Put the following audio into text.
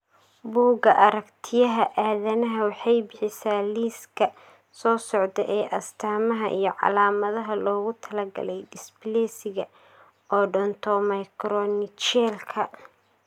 Bugga Aaragtiyaha Aadanaha waxay bixisaa liiska soo socda ee astamaha iyo calaamadaha loogu talagalay dysplasiga Odontomicronychialka.